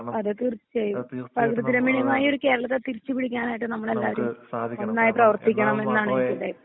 അതെ തീർച്ചായും പങ്ക് ദിനമെന്മയ ഒരു കേരളത്തെ തിരിച്ചു പിടിക്കാനായിട്ട് നമ്മൾ എല്ലാവരും നന്നായി പ്രേവർത്തിക്കണമെന്നാണ് ഇവിടെ